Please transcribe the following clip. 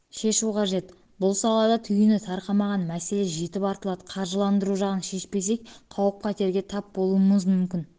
қажет бұл салада түйіні тарқамаған мәселе жетіп артылады қаржыландыру жағын шешпесек қауіп-қатерге тап болуымыз мүмкін